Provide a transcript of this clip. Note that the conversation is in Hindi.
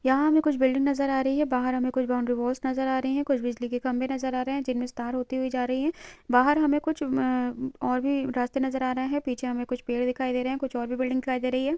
यहाँ हमें कुछ बिल्डिंग नजर आ रही है बाहर हमें कुछ बाउंड्री वॉल्स नजर आ रही हैं कुछ बिजली के खंभे नजर आ रहे हैं जिनमें से तार होती जा रही है बहार हमें कुछ और भी रस्ते नजर आ रहे हैं पीछे हमें कुछ पेड़ दिखाई दे रहे हैं कुछ और भी बिल्डिंग दिखाई दे रही हैं।